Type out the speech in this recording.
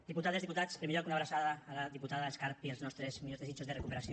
diputades diputats en primer lloc una abraçada a la diputada escarp i els nostres millors desitjos de recuperació